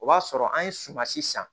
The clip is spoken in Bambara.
O b'a sɔrɔ an ye sumansi san